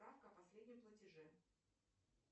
справка о последнем платеже